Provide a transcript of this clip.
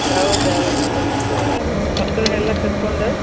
ಹೌದ್ ಹೌದ್ ಹೌದ್ . ಮಕ್ಕಳನೆಲ್ಲಾ ಕರಕೊಂಡ.